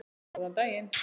Góðan daginn